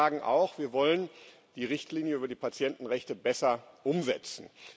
Aber wir sagen auch Wir wollen die Richtlinie über die Patientenrechte besser umsetzen.